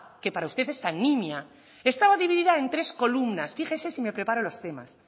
que para usted es tan nimia estaba dividida en tres columnas fíjese si me preparo los temas